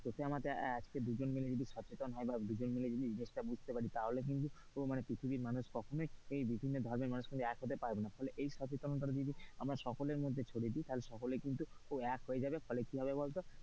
তথে আমাতে আজকে দুজনে মিলে যদি সচেতন হয় বা দুজন মিলে যদি জিনিসটা বুঝতে পারি তাহলে কিন্তু পৃথিবীর মানুষ কখনোই বিভিন্ন ধর্মের মানুষ কিন্তু এক হতে পারবে না এই সচেতনতা যদি আমরা সকলের মধ্যে ছড়িয়ে দি তাহলে কিন্তু এক হয়ে যাবে ফলে কি হবে বলতো,